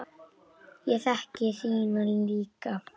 Ég þekki þína líka.